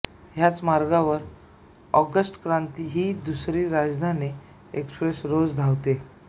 ह्याच मार्गावर ऑगस्ट क्रांती ही दुसरी राजधानी एक्सप्रेस रोज धावते